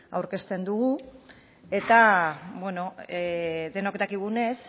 aurkezten dugu eta bueno denok dakigunez